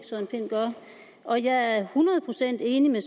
søren pind gør og jeg er hundrede procent enig med